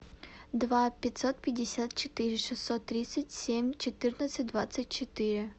два пятьсот пятьдесят четыре шестьсот тридцать семь четырнадцать двадцать четыре